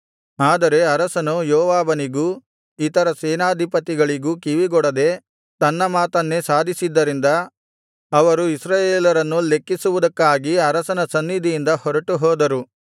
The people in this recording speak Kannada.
ಆದರೆ ಅರಸನು ಯೋವಾಬನಿಗೂ ಇತರ ಸೇನಾಧಿಪತಿಗಳಿಗೂ ಕಿವಿಗೊಡದೆ ತನ್ನ ಮಾತನ್ನೇ ಸಾಧಿಸಿದ್ದರಿಂದ ಅವರು ಇಸ್ರಾಯೇಲರನ್ನು ಲೆಕ್ಕಿಸುವುದಕ್ಕಾಗಿ ಅರಸನ ಸನ್ನಿಧಿಯಿಂದ ಹೊರಟು ಹೋದರು